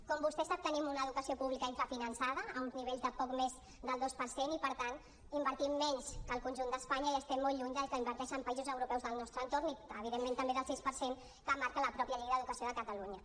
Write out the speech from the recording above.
com vostè sap tenim una educació pública infrafinançada a uns nivells de poc més del dos per cent i per tant invertim menys que el conjunt d’espanya i estem molt lluny del que inverteixen països europeus del nostre entorn i evidentment també del sis per cent que marca la pròpia llei d’educació de catalunya